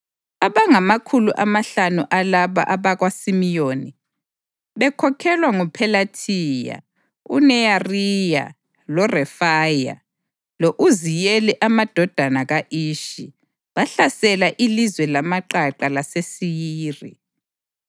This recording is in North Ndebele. Abangamakhulu amahlanu alaba abakaSimiyoni, bekhokhelwa nguPhelathiya, uNeyariya loRefaya lo-Uziyeli amadodana ka-Ishi, bahlasela ilizwe lamaqaqa laseSeyiri.